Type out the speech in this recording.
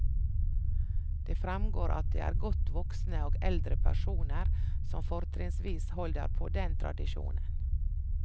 Det fremgår at det er godt voksne og eldre personer som fortrinnsvis holder på den tradisjonen.